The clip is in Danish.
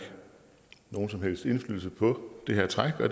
nogen som helst indflydelse på det her træk